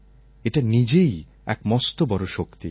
এটা নিজেই এক মস্ত বড় শক্তি